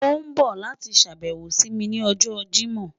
O n bọ lati ṣabẹwo si mi ni ọjọ Jimọ